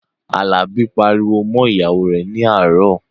Àlàbí pariwo mọ́ ìyàwó rẹ̀ ní àárọ̀